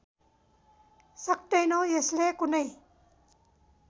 सक्तैनौँ यसले कुनै